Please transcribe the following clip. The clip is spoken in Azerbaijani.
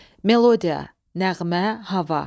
Melodiya – nəğmə, hava.